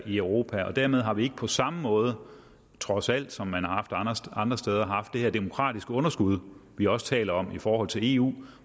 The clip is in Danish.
i europa dermed har vi ikke på samme måde trods alt som man har haft andre steder haft det her demokratiske underskud vi også taler om i forhold til eu